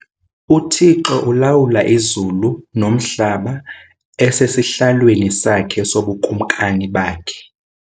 Uthixo ulawula izulu nomhlaba esesihlalweni sakhe sobuKumkani bakhe.